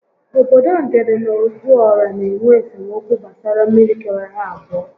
Obodo Ngede na Ozuọra n'enwe esemokwu gbasara mmiri kewara ha abụọ